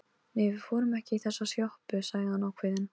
Nei, við förum ekki í þessa sjoppu, sagði hann ákveðinn.